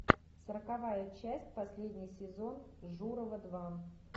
сороковая часть последний сезон журова два